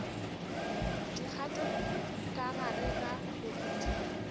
dikgato ka gare ga moriti